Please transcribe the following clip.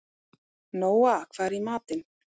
Nóa, hvað er í matinn?